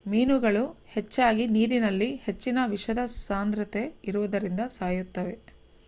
ಮೀನುಗಳು ಹೆಚ್ಚಾಗಿ ನೀರಿನಲ್ಲಿ ಹೆಚ್ಚಿನ ವಿಷದ ಸಾಂದ್ರತೆ ಇರುವುದರಿಂದ ಸಾಯುತ್ತವೆ